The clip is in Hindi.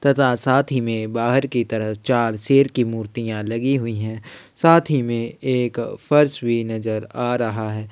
तथा साथ ही में बाहर की तरफ चार सेर की मुर्तिया लगी हुई है साथ ही में एक फर्श भी नज़र आ रहा है।